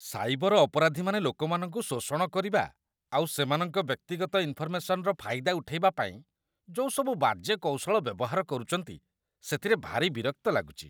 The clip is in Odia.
ସାଇବର ଅପରାଧୀମାନେ ଲୋକମାନଙ୍କୁ ଶୋଷଣ କରିବା ଆଉ ସେମାନଙ୍କ ବ୍ୟକ୍ତିଗତ ଇନଫରମେସନ୍‌ର ଫାଇଦା ଉଠେଇବା ପାଇଁ ଯୋଉ ସବୁ ବାଜେ କୌଶଳ ବ୍ୟବହାର କରୁଚନ୍ତି, ସେଥିରେ ଭାରି ବିରକ୍ତ ଲାଗୁଚି ।